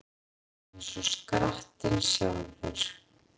Eins og skrattinn sjálfur